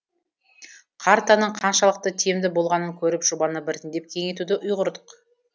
картаның қаншалықты тиімді болғанын көріп жобаны біртіндеп кеңейтуді ұйғардық